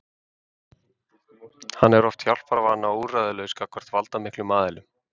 Hann er oft hjálparvana og úrræðalaus gagnvart valdamiklum aðilum.